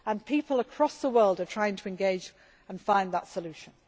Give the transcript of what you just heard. People across the world are trying to engage and find that solution.